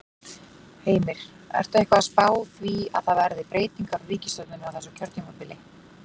Heimir: Ertu eitthvað að spá því að það verði breytingar á ríkisstjórninni á þessu kjörtímabili?